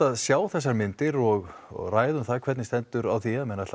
að sjá þessar myndir og og ræða um hvernig stendur á því að menn ætla